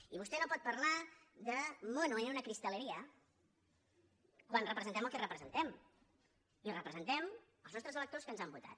i vostè no pot parlar de mono en una cristalería quan representem el que representem i representem els nostres electors que ens han votat